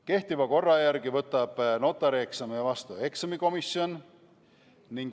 Kehtiva korra järgi võtab notarieksami vastu eksamikomisjon.